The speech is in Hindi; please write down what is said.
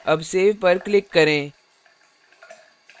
अब save पर click करें